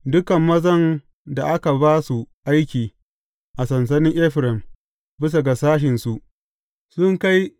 Dukan mazan da aka ba su aiki a sansanin Efraim, bisa ga sashensu su kai ne.